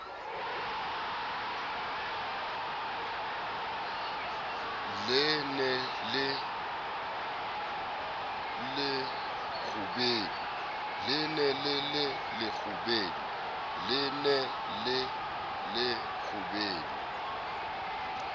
le ne le le lekgubedu